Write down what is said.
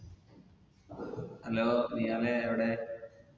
hello നിഹാലേ എവിടെ